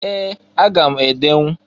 Ee! Aga m edenwu.